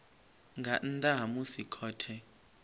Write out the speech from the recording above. nga nnḓa ha musi khothe